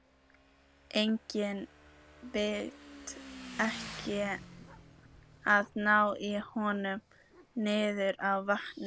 Eigum við ekki að ná í hann niður að vatni?